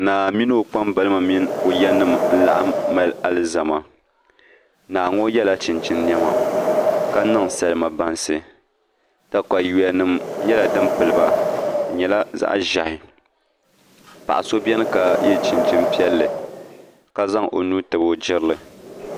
Naa mini o kpambalibi mini o ya nim n laɣam mali alizama naa ŋo yɛla chinchin niɛma ka niŋ salima bansi katawiya nim nyɛla din piliba di nyɛla zaŋ ʒiɛhi paɣa so biɛni ka yɛ chinchin piɛlli ka zaŋ o nuu tabi o jirili